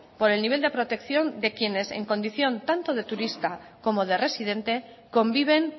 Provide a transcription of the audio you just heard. por el nivel de protección de quienes en condición tanto de turista como de residente conviven